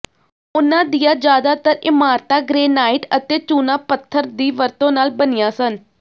ਉਨ੍ਹਾਂ ਦੀਆਂ ਜ਼ਿਆਦਾਤਰ ਇਮਾਰਤਾਂ ਗ੍ਰੇਨਾਈਟ ਅਤੇ ਚੂਨਾ ਪੱਥਰ ਦੀ ਵਰਤੋਂ ਨਾਲ ਬਣੀਆਂ ਸਨ